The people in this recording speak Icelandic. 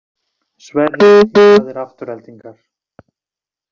Sverrir í raðir Aftureldingar